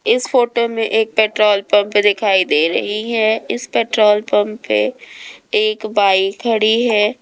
इस फोटो में एक पेट्रोल पंप दिखाई दे रही है इस पेट्रोल पंप पे एक बाइक खड़ी है।